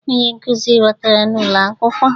Onye nkụzi batara n'ulo akwukwuo.